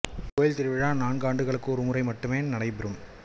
இக்கோவில் திருவிழா நான்கு ஆண்டுகளுக்கு ஒரு முறை மட்டுமே நடைபெறும்